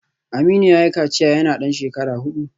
Aminu yayi kaciya yana dan shekara hudu